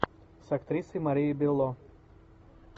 с актрисой марией белло